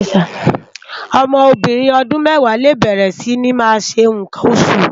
Òmò óbìrín òdún mèwá lé bèrè si ni má ṣé nkán óṣú